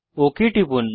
okay টিপুন